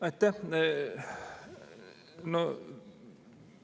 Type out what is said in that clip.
Aitäh!